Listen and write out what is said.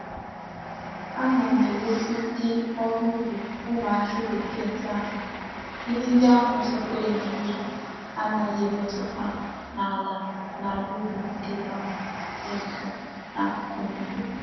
Ana m eresi ndi órú ubi umu aki bekee ndi àhû ihe ndi ahu sitere na mmiri anaghi emetuta n'ala n'ala ubi ndi ahu di nso n'akuku mmiri.